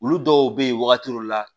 Olu dɔw bɛ ye wagati dɔw la